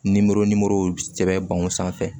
Nimoro nimoro sɛbɛn sanfɛ